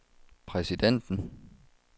præsidenten